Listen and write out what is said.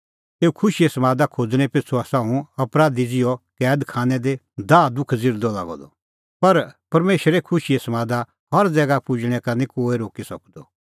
एऊ खुशीए समादा खोज़णैं पिछ़ू आसा हुंह अपराधी ज़िहअ कैद खानै दी दाहदुख ज़िरदअ लागअ द पर परमेशरे खुशीए समादा हर ज़ैगा पुजणैं का निं कोहै रोक्की सकदअ